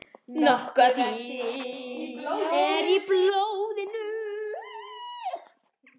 Nokkuð af því er í blóðinu.